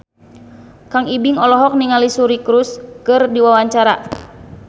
Kang Ibing olohok ningali Suri Cruise keur diwawancara